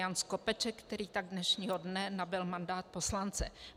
Jan Skopeček, který tak dnešního dne nabyl mandát poslance.